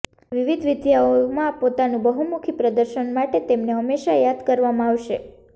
વિવિધ વિદ્યાઓમાં પોતાનું બહુમુખી પ્રદર્શન માટે તેમને હંમેશા યાદ કરવામાં આવશે